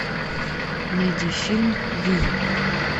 найди фильм вий